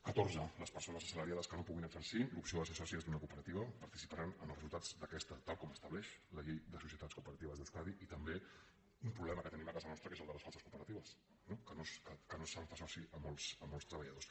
catorze les persones assalariades que no puguin exercir l’opció a ser sòcies d’una cooperativa participaran en els resultats d’aquesta tal com estableix la llei de societats cooperatives d’euskadi i també un problema que tenim a casa nostra que és el de les falses cooperatives no que no se’n fa soci a molts treballadors